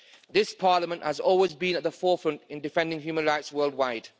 This Parliament has always been at the forefront in defending human rights worldwide.